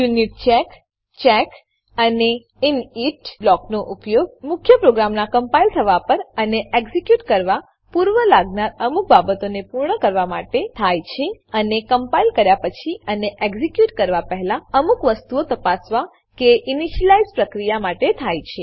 યુનિચેક check અને init બ્લોકોનો ઉપયોગ મુખ્ય પ્રોગ્રામનાં કમ્પાઈલ થવા પર અને એક્ઝીક્યુટ કરવા પૂર્વે લાગનાર અમુક બાબતોને પૂર્ણ કરવા માટે થાય છે અને કમ્પાઈલ કર્યા પછી અને એક્ઝીક્યુટ કરવા પહેલા અમુક વસ્તુઓ તપાસવા કે ઈનીશલાઈઝ પ્રક્રિયા માટે થાય છે